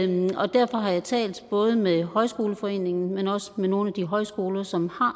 og derfor har jeg talt både med højskoleforeningen men også med nogle af de højskoler som har